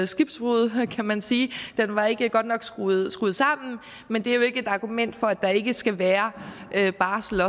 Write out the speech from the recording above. skibbrud kan man sige den var ikke godt nok skruet sammen men det er jo ikke et argument for at der ikke også skal være barsel